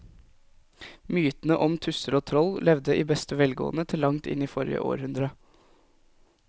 Mytene om tusser og troll levde i beste velgående til langt inn i forrige århundre.